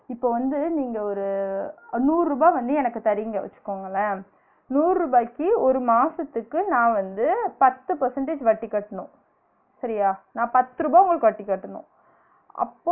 இப்ப வந்து நீங்க ஒரு நூருபா வந்து எனக்கு தரீங்க வச்சுகோங்களன் நூருபாயிக்கு ஒரு மாசத்துக்கு நான் வந்து பத்து percentage வட்டி கட்னும் சரியா? நான் பத்து ருபா உங்களுக்கு வட்டி கட்டனும் அப்